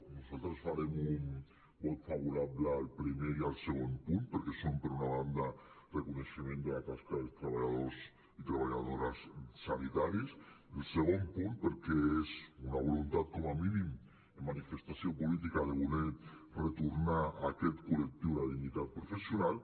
nosaltres farem un vot favorable al primer i al segon punt perquè són per una banda reconeixement de la tasca dels treballadors i treballadores sanitaris el segon punt perquè és una voluntat com a mínim de manifestació política de voler retornar a aquest col·lectiu la dignitat professional